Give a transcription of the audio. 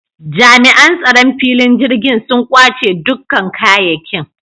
Jami’an tsaron filin jirgin sun kwace dukkan kayekin